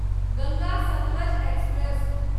Ganga Satluj express